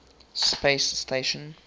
space station